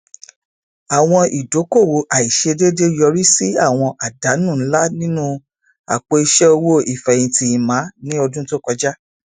àwọn idókòòwò àìsèdédé yọrí sí àwọn àdánù ńlá nínú apò iṣẹ owó ìfẹhìntì emma ní ọdún tó kọjá